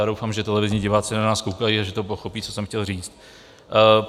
Já doufám, že televizní diváci na nás koukají a že pochopí, co jsem chtěl říci.